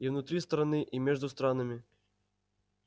и внутри страны и между странами